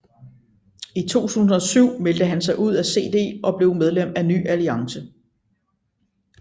I 2007 meldte han sig ud af CD og blev medlem af Ny Alliance